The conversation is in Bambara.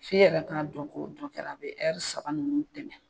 F'i yɛrɛ ka dɔn ko dɔ kɛra a bɛ saba ninnu tɛmɛn.